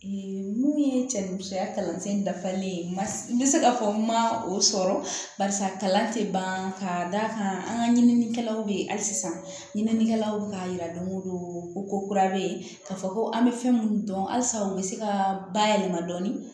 mun ye cɛ ni musoya kalansen dafalen ma n bɛ se ka fɔ n ma o sɔrɔ barisa kalan tɛ ban ka d'a kan an ka ɲininikɛlaw bɛ yen hali sisan ɲininikɛlaw y'a jira don o don ko ko kura bɛ yen ka fɔ ko an bɛ fɛn minnu dɔn halisa u bɛ se ka bayɛlɛma dɔɔnin